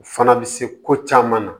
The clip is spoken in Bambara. U fana bɛ se ko caman na